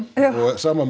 og sama með